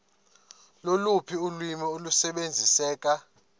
loluphi ulwimi olusebenziseka